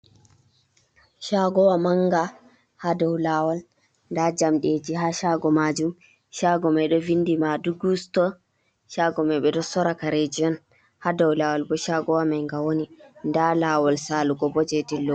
Chagowa manga ha dau lawal da jamdeji ha sago majum, chago mai do vindi madugu ati. chago mai ɓeɗo sora kareji on ha dau lawal bo shagowa manga woni da lawol salugo bo jedilla.